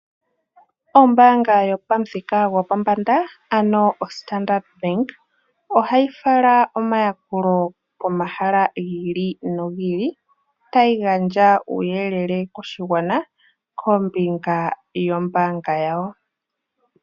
Ombaanga yopamuthika gopombanda ano oStandard Bank, ohayi fala omayakulo pomahala gi ili nogi ili tayi gandja uuyelele koshigwana kombinga yombaanga yawo.